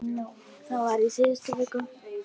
Þetta var í síðustu viku.